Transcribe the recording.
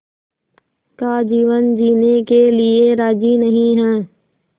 का जीवन जीने के लिए राज़ी नहीं हैं